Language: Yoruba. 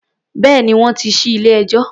Bẹ́ẹ̀ni, wọ́n ti ṣí ilé-ẹjọ́.